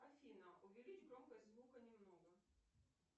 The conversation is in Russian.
афина увеличь громкость звука немного